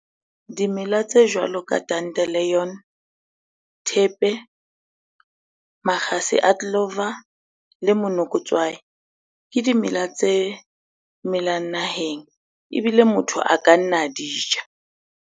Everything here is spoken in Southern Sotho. Dimela tse jwalo ka dandelion, thepe, makgase a clover le monokotswai, ke dimela tse melang naheng ebile motho a ka nna di ja.